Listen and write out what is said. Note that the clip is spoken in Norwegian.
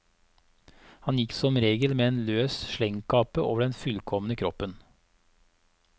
Han gikk som regel med en løs slengkappe over den fullkomne kroppen.